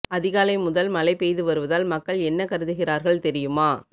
அதிகாலை முதல் மழை பெய்து வருவதால் மக்கள் என்ன கருதுகிறார்கள் தெரியுமா